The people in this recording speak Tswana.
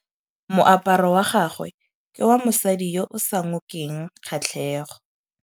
Moaparô wa gagwe ke wa mosadi yo o sa ngôkeng kgatlhegô.